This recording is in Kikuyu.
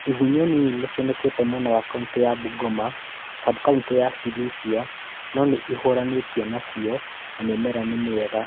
Igunyũ nini nĩcionekete mwena wa kauntĩ ya Bungoma, subkauntĩ ya Sirisia no nĩihũranĩtwo nacio na mĩmera nĩ mĩega